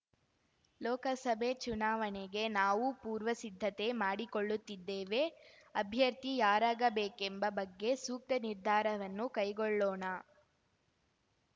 ಲೋಕಸಭೆ ಚುನಾವಣೆಗೆ ನಾವೂ ಪೂರ್ವ ಸಿದ್ಧತೆ ಮಾಡಿಕೊಳ್ಳುತ್ತಿದ್ದೇವೆ ಅಭ್ಯರ್ಥಿ ಯಾರಾಗಬೇಕೆಂಬ ಬಗ್ಗೆ ಸೂಕ್ತ ನಿರ್ಧಾರವನ್ನು ಕೈಗೊಳ್ಳೋಣ